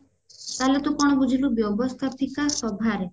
ତା ମାନେ ତୁ କଣ ବୁଝିଲୁ ବ୍ୟବସ୍ତାପିକା ସଭାରେ